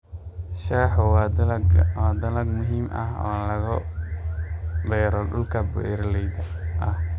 Shaahu waa dalag muhiim ah oo laga beero dhulka buuraleyda ah.